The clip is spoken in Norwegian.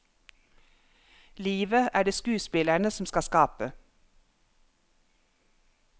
Livet er det skuespillerne som skal skape.